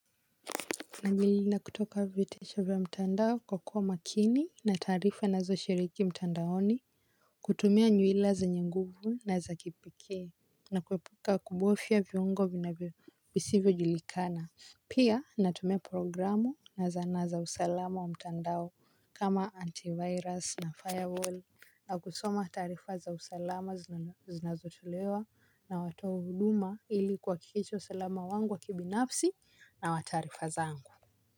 Najilinda kutoka vitisho vya mtandao kwa kuwa makini na taarifa ninazoshiriki mtandaoni. Kutumia nywila zenye nguvu na za kipekee na kuepuka kubofia viungo vinavyo visivyojulikana. Pia natumia programu na zana za usalama wa mtandao kama antivirus na firewall na kusoma taarifa za usalama zinazotolewa na watoa huduma ili kuhakikisha usalama wangu wa kibinafsi na wa taarifa zangu. Kwa hivyo.